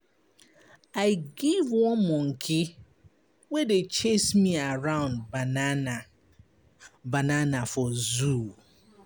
I give one monkey wey dey chase me around banana for zoo.